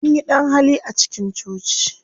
Anyi ɗan-hali a cikin coci.